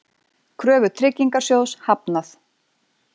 Kröfu Tryggingasjóðs hafnað